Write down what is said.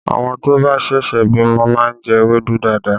Àwọn tó bá ṣẹ̀ṣẹ̀ bímọ máa ń jẹ ewédú dáadáa